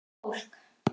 Hvílíkt fólk!